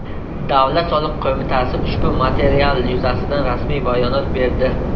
Davlat soliq qo‘mitasi ushbu material yuzasidan rasmiy bayonot berdi .